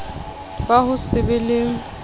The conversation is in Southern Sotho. ba ho se be le